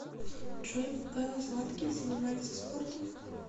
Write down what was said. джой белла златкис занимается спортом